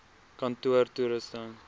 kantoortoerusting